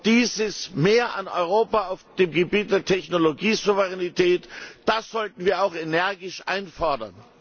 Dieses Mehr an Europa auf dem Gebiet der Technologiesouveränität, das sollten wir auch energisch einfordern!